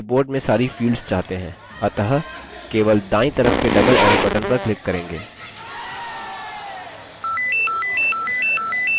हम अपनी report में सारी fields चाहते हैं अतः केवल दायीं तरफ के double arrow button पर click करेंगे